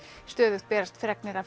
stöðugt berast fregnir af